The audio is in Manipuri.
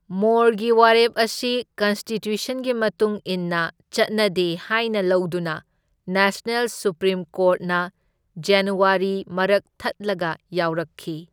ꯃꯣꯔꯒꯤ ꯋꯥꯔꯦꯞ ꯑꯁꯤ ꯀꯟꯁꯇꯤꯇ꯭ꯌꯨꯁꯟꯒꯤ ꯃꯇꯨꯡ ꯏꯟꯅ ꯆꯠꯅꯗꯦ ꯍꯥꯢꯅ ꯂꯧꯗꯨꯅ ꯅꯦꯁꯅꯦꯜ ꯁꯨꯞꯄ꯭ꯔꯤꯝ ꯀꯣꯔꯠꯅ ꯖꯟꯋꯥꯔꯤꯗ ꯃꯔꯛ ꯊꯠꯂꯒ ꯌꯥꯎꯔꯛꯈꯤ꯫